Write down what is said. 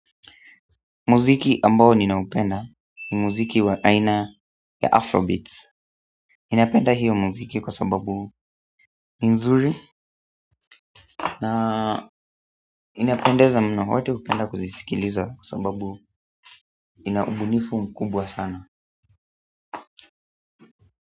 Muziki ambao ninaupenda ni muziki wa aina ya Afrobeats ninapenda hiyo muziki kwa sababu ni nzuri na inapendeza mno watu hupenda kuzisikiliza kwa sababu ina ubunifu mkubwa sana.